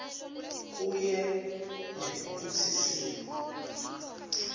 kuye ngekutsi simo